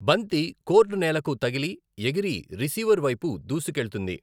బంతి కోర్టునేలకు తగిలి, ఎగిరి రిసీవర్ వైపు దూసుకెళ్తుంది.